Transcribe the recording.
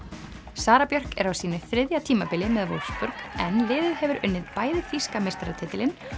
Sara Björk er á sínu þriðja tímabili með Wolfsburg en liðið hefur unnið bæði þýska meistaratitilinn